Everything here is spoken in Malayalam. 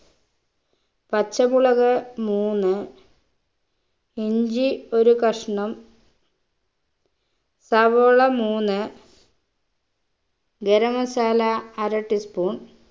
പച്ചമുളക് മൂന്ന് ഇഞ്ചി ഒരു കഷ്ണം സവോള മൂന്ന് ഗരം masala അര tea spoon